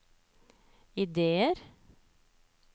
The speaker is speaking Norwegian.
ideer